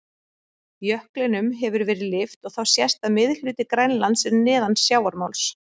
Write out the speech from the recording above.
Jöklinum hefur verið lyft og þá sést að miðhluti Grænlands er neðan sjávarmáls.